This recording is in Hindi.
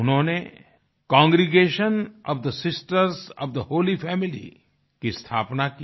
उन्होंने congregation of the sisters of the holy family की स्थापना की